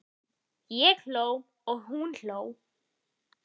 Ég hló og hún hló.